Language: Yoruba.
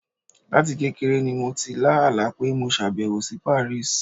Láti kékeré ni mo ti lá àlá pé mo ṣàbẹ̀wò sí Paris.